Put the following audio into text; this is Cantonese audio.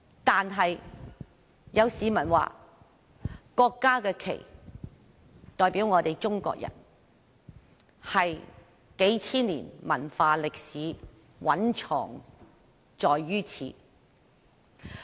但是，有市民說國家的國旗代表中國人，數千年文化歷史蘊藏於此。